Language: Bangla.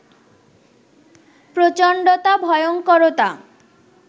প্রচণ্ডতা, ভয়ংকরতা